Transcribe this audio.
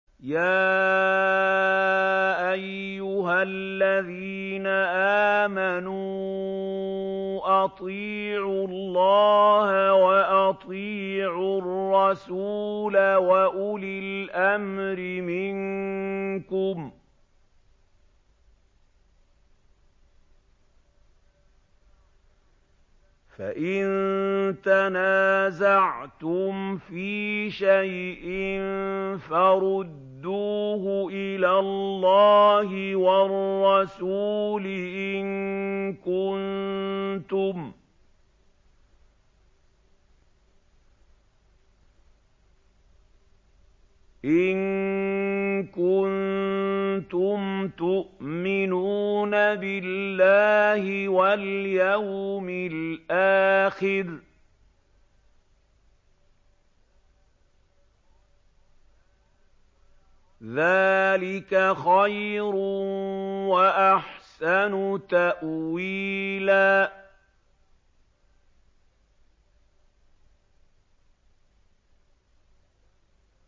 يَا أَيُّهَا الَّذِينَ آمَنُوا أَطِيعُوا اللَّهَ وَأَطِيعُوا الرَّسُولَ وَأُولِي الْأَمْرِ مِنكُمْ ۖ فَإِن تَنَازَعْتُمْ فِي شَيْءٍ فَرُدُّوهُ إِلَى اللَّهِ وَالرَّسُولِ إِن كُنتُمْ تُؤْمِنُونَ بِاللَّهِ وَالْيَوْمِ الْآخِرِ ۚ ذَٰلِكَ خَيْرٌ وَأَحْسَنُ تَأْوِيلًا